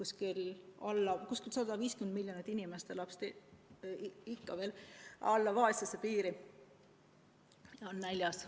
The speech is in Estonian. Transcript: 150 miljonit inimest elab ikka veel alla vaesuspiiri, on näljas.